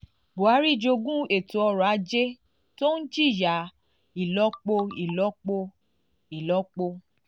buhari jogún ètò ọrọ̀ ajé tó ń jìyà ìlọ́po ìlọ́po ìlọ́po ìlọ́po ìlọ́po ìlọ́po ìlọ́po ìlọ́po